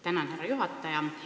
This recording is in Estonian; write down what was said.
Tänan, härra juhataja!